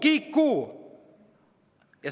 Kiku!"?